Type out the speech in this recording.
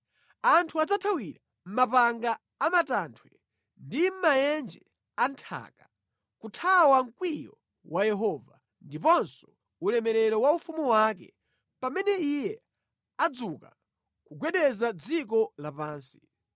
Anthu adzathawira mʼmapanga a matanthwe ndi mʼmaenje a nthaka, kuthawa mkwiyo wa Yehova, ndiponso ulemerero wa ufumu wake, pamene Iye adzuka kugwedeza dziko lapansi.